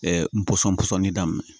n pɔsɔn pɔsɔni daminɛ